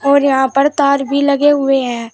और यहां पर तार भी लगे हुए हैं।